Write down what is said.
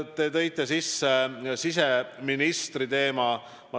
Te tõite sisse siseministri teema.